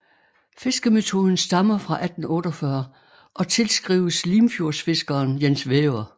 Fiskemetoden stammer fra 1848 og tilskrives Limfjordsfiskeren Jens Væver